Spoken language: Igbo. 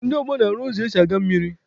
Ndị ọgbọ na-arụ ụzọ esi aga mmiri.